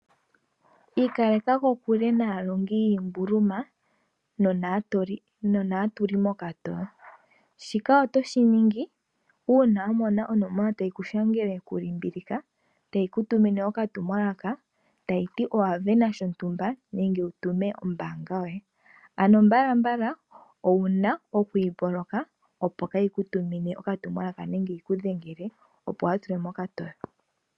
Aakwashigwana otaya kumagidhwa opo ya kale kokule naalongi yiimbuluma, osho wo tuu aakengeleli. Oya pumbwa oku dhimbulula uutumwalaka uuhupi mboka hawu pula uuyelele wopaumwene koka kalata kombaanga, shoka inashi pitikwa oku ningwa.